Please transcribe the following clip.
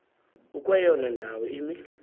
ukweyona ndawo imi